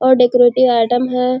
और decorative item है।